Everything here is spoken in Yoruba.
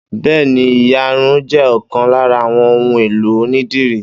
Bẹ́ẹ́ni, ìyarun jẹ́ ọkàn lára àwọn ohun èlò onídìrí.